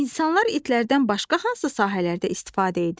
İnsanlar itlərdən başqa hansı sahələrdə istifadə edirlər?